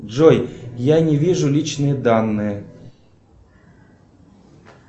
джой я не вижу личные данные